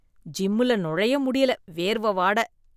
ஜிம்முல நுழைய முடியல வேர்வ வாட.